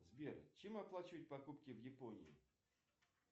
сбер чем оплачивать покупки в японии